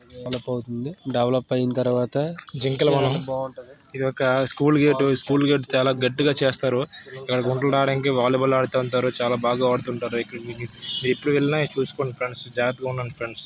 Develop అవతుంది. Develop ఐన తర్వాత ఇదొక స్కూల్ గేటు . స్కూల్ గేట్ చాల గట్టిగా చేస్తారు. వాలీ బాల్ ఆడటానికి చాల బాగా వాడుతుంటారు. ఎటు వెళ్ళిన--